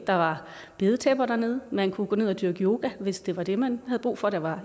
der var bedetæpper dernede man kunne gå ned og dyrke yoga hvis det var det man havde brug for der var